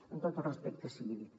amb tot el respecte sigui dit